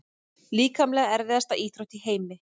Líkamlega erfiðasta íþrótt í heimi?